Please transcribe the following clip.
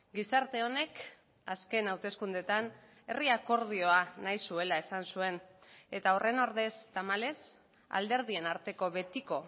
gizarte honek azken hauteskundeetan herri akordioa nahi zuela esan zuen eta horren ordez tamalez alderdien arteko betiko